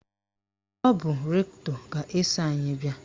Ọ bụ rektọ ga-eso anyị bịa.